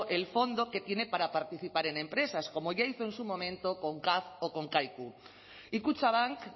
el fondo que tiene para participar en empresas como ya hizo en su momento con caf o con kaiku y kutxabank